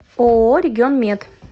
ооо регионмед